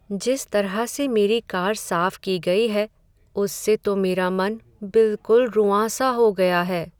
जिस तरह से मेरी कार साफ की गई है उससे तो मेरा मन बिलकुल रुआँसा हो गया है।